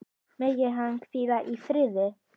Megir hann hvíla í friði.